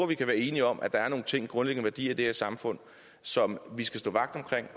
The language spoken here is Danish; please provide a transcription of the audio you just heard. vi kan være enige om at der er nogle grundlæggende værdier i det her samfund som vi skal stå vagt om